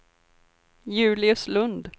Julius Lund